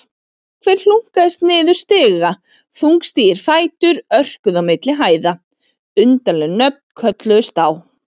Einhver hlunkaðist niður stiga, þungstígir fætur örkuðu á milli hæða, undarleg nöfn kölluðust á.